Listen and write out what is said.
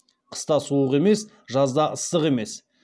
қыста суық емес жазда ыстық емес